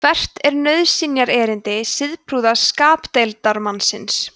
hvert er nauðsynjaerindi siðprúða skapdeildarmannsins